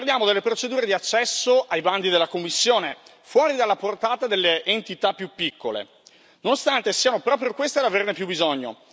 Parliamo delle procedure di accesso ai bandi della Commissione, fuori dalla portata delle entità più piccole, nonostante siano proprio queste ad averne più bisogno.